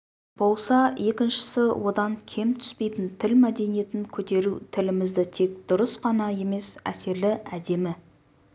болса екіншісі одан кем түспейтін тіл мәдениетін көтеру тілімізді тек дұрыс қана емес әсерлі әдемі